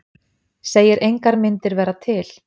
Segir engar myndir vera til